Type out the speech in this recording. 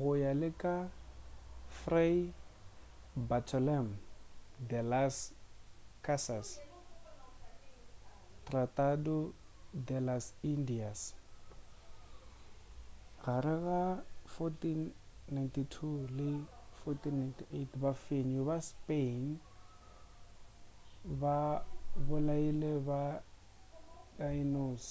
go ya le ka fray bartolomé de las casas tratado de las indias gare ga 1492 le 1498 bafenyi ba ma spanish ba bolaile ba taínos